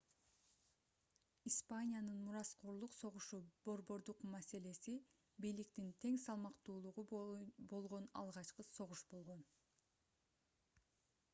испаниянын мураскорлук согушу борбордук маселеси бийликтин тең салмактуулугу болгон алгачкы согуш болгон